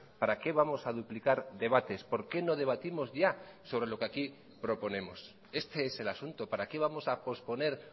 para qué vamos a duplicar debates por qué no debatimos ya sobre lo que aquí proponemos este es el asunto para qué vamos a posponer